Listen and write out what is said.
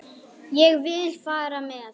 Ég vil fara með.